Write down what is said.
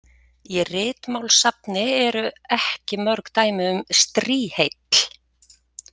Í Ritmálssafni eru ekki mörg dæmi um strýheill.